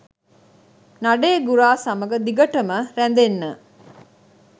නඩේ ගුරා සමග දිගටම රැඳෙන්න